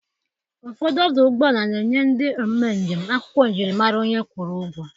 Ụfọdụ ọdụ ụgbọala na-enye ndị eme njem akwụkwọ njiri mara onye kwụrụ ụgwọ.